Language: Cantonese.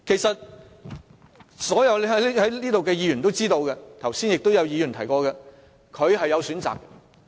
所有議員都知道，剛才亦有議員提過，他是有其他選擇的。